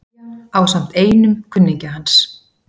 Eyja ásamt einum kunningja hans.